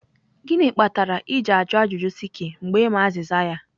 gịnị kpatara ịjụ ajụjụ sikky mgbe ị ma azịza ya.